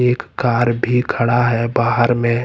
एक कार भी खड़ा है बाहर में।